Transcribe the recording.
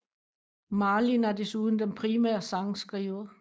Marlin er desuden den primære sangskriver